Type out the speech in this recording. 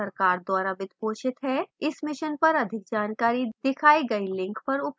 इस mission पर IT जानकारी दिखाई गई link पर उपलब्ध है